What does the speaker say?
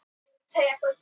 Það var augljóst.